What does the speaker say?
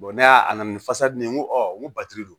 ne y'a a na ni fasa di ne ye n ko n ko batiri don